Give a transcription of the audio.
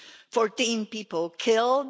Fourteen people killed